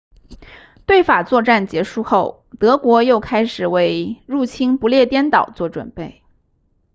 对法作战结束后德国又开始为入侵不列颠岛做准备